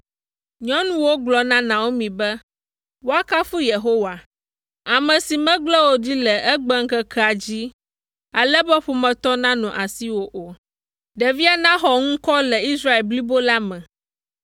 Nyɔnuwo gblɔ na Naomi be, “Woakafu Yehowa, ame si megblẽ wò ɖi le egbeŋkekea dzi, ale be ƒometɔ manɔ asiwò o; ɖevia naxɔ ŋkɔ le Israel blibo la me,